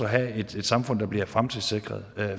have et samfund der bliver fremtidssikret